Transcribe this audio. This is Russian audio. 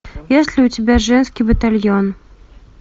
есть ли у тебя женский батальон